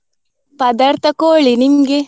ಪದಾರ್ಥ ಕೋಳಿ, ನಿಮ್ಗೆ?